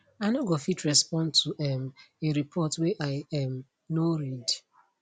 i no go fit respond to um a report wey i um no read